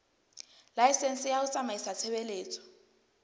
laesense ya ho tsamaisa tshebeletso